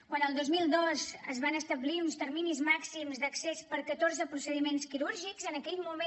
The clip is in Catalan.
quan el dos mil dos es van establir uns terminis màxims d’accés per catorze procediments quirúrgics en aquell moment amb un criteri bàsicament